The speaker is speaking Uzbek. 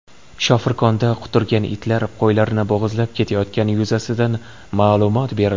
Shofirkonda quturgan itlar qo‘ylarni bo‘g‘izlab ketayotgani yuzasidan ma’lumot berildi.